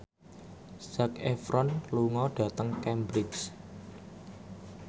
Zac Efron lunga dhateng Cambridge